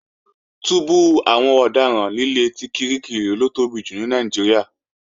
Túbú àwọn ọ̀daràn líle ti Kirikiri ló tóbi jù ní Nàìjíríà